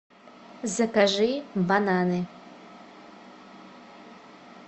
закажи бананы